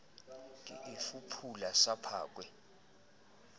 ke e fuphula sa phakwe